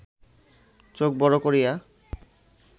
চোখ বড় করিয়া